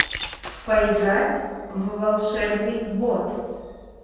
поиграть в волшебный бот